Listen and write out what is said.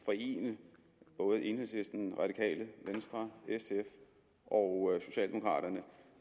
forene både enhedslisten radikale venstre sf og socialdemokraterne